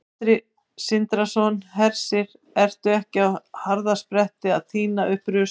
Sindri Sindrason: Hersir, ertu ekki á harðaspretti að tína upp rusl?